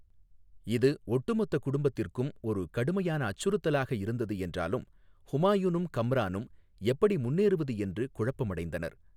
இது ஒட்டுமொத்த குடும்பத்திற்கும் ஒரு கடுமையான அச்சுறுத்தலாக இருந்தது என்றாலும் ஹுமாயூனும் கம்ரானும் எப்படி முன்னேறுவது என்று குழப்பமடைந்தனர்.